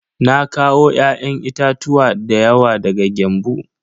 Na kawo ya'yan itatuwa dayawa daga Gembu.